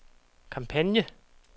kampagne